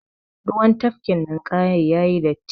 Ruwan tafkin ninƙayan yayi datti.